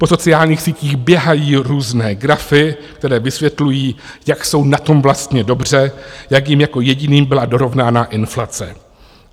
Po sociálních sítích běhají různé grafy, které vysvětlují, jak jsou na tom vlastně dobře, jak jim jako jediným byla dorovnána inflace.